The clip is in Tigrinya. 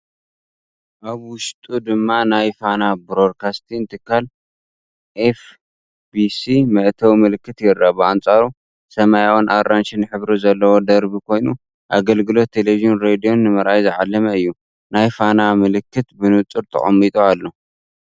ኣብ ውሽጢ ድማ ናይ ፋና ብሮድካስቲንግ ትካል (ኤፍ.ቢ.ሲ) መእተዊ ምልክት ይርአ። ብኣንጻሩ፡ ሰማያውን ኣራንሺን ሕብሪ ዘለዎ ደርቢ ኮይኑ፡ ኣገልግሎት ተለቪዥንን ሬድዮን ንምርኣይ ዝዓለመ እዩ። ናይ ፋና ምልክት ብንጹር ተቐሚጡ ኣሎ።